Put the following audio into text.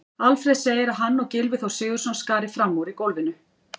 Alfreð segir að hann og Gylfi Þór Sigurðsson skari fram úr í golfinu.